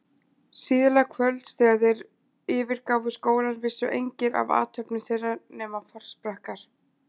Síðla kvölds, þegar þeir yfirgáfu skólann, vissu engir af athöfnum þeirra nema forsprakkar